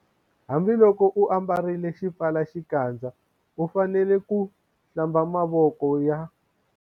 Hambiloko u ambarile xipfalaxikandza u fanele ku- Hlamba mavoko ya